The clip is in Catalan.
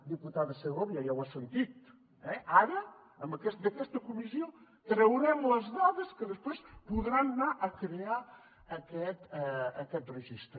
diputada segovia ja ho ha sentit eh ara d’aquesta comissió traurem les dades que després podran anar a crear aquest registre